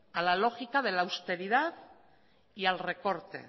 a la lógica de la austeridad y al recorte